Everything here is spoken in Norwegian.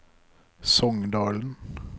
Songdalen